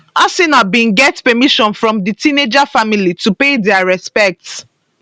arsenal bin get permission from di teenager family to pay dia respects